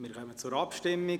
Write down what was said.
Wir kommen zur Abstimmung.